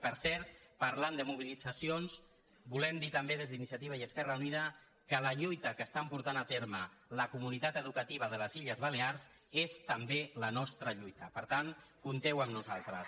per cert parlant de mobilitzacions volem dir també des d’iniciativa i esquerra unida que la llui·ta que està portant a terme la comunitat educativa de les illes balears és la nostra lluita per tant compteu amb nosaltres